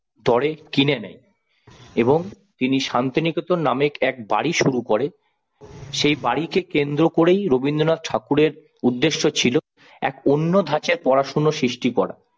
দরে কিনে নেন, এবং তিনি শান্তিনিকেতন নামে এক বাড়ি শুরু করে সেই বাড়িকে কেন্দ্র করেই রবীন্দ্রনাথ ঠাকুরের উদ্দেশ্য ছিল এক অন্য ধাঁচের পড়াশোনা সৃষ্টি করা।